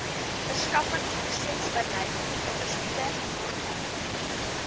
verskaffingsprosesbeleid logistieke norme